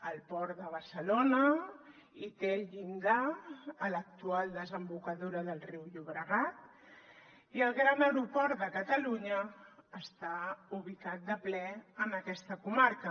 el port de barcelona té el llindar a l’actual desembocadura del riu llobregat i el gran aeroport de catalunya està ubicat de ple en aquesta comarca